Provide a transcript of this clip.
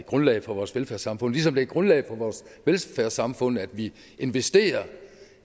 grundlaget for vores velfærdssamfund ligesom det er grundlaget for vores velfærdssamfund at vi investerer